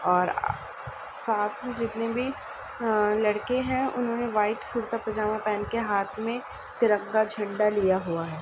और साथ मे जितने भी अ लड़के हैं। उन्होने व्हाइट कुर्ता पजामा पहन के हाथ मे तिरंगा झण्डा लिया हुआ है।